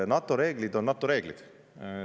NATO reeglid on NATO reeglid.